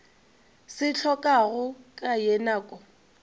se hlokago ka ye nako